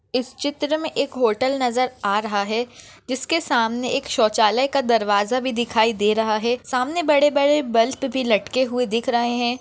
इस चित्र में एक होटल नजर आ रहा है जिसके सामने एक शौचालय का दरवाजा भी दिखाई दे रहा है सामने बड़े बड़े बल्ब भी लटके हुए दिख रहे है।